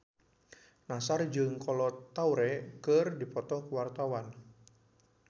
Nassar jeung Kolo Taure keur dipoto ku wartawan